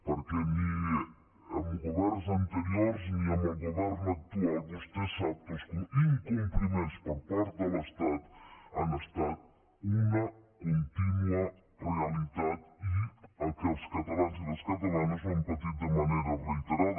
perquè ni amb governs anteriors ni amb el govern actual vostè sap que els incompliments per part de l’estat han estat una contínua realitat i que els catalans i les catalanes ho hem patit de manera reiterada